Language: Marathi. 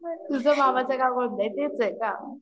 तुझं मामाच गाव कोणत आहे तेच आहे का